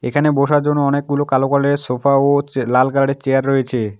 এখানে বসার জন্য অনেকগুলো কালো কালার -এর সোফা ও চে লাল কালার -এর চেয়ার রয়েছে।